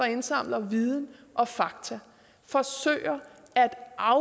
indsamler viden og fakta forsøger at